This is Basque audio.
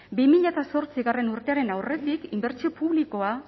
bi mila zortzigarrena urtearen aurretik inbertsio publikoa